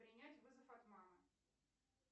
принять вызов от мамы